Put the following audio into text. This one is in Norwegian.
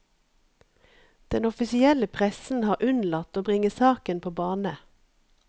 Den offisielle pressen har unnlatt å bringe saken på bane.